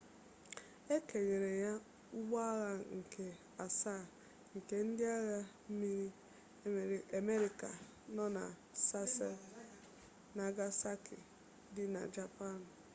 e kenyere ya ụgbọagha nke asaa nke ndị agha mmiri amerịka nọ na sasebo nagasaki dị na japan